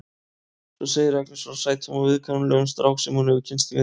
Svo segir Agnes frá sætum og viðkunnanlegum strák sem hún hefur kynnst í vinnunni.